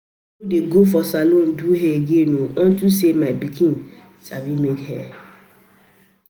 I no dey go for salon do hair again unto say my pikin sabi make hair